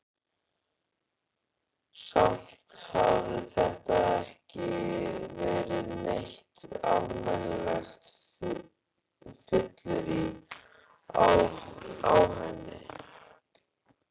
Samt hafði þetta ekki verið neitt almennilegt fyllirí á henni.